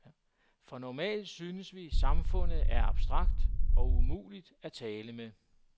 For normalt synes vi samfundet er abstrakt og umuligt at tale med.